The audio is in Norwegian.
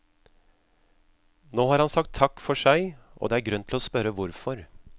Nå har han sagt takk for seg, og det er grunn til å spørre hvorfor.